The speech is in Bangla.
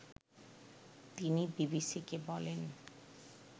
তিনি বিবিসিকে বলেন